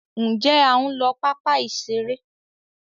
Njé a ń ló papa iṣere